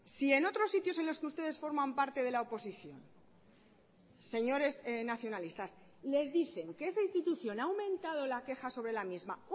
si en otros sitios en los que ustedes forman parte de la oposición señores nacionalistas les dicen que esa institución ha aumentado la queja sobre la misma